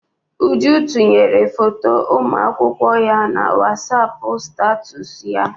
Uju tinyere foto ụmụ akwụkwọ ya na Wasapụ statusu ya.